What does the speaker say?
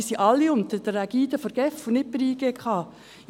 Diese sind aber alle unter der Ägide der GEF und nicht der JGK.